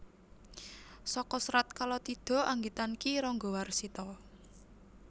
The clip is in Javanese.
Saka Serat Kalatidha anggitan Ki Ranggawarsita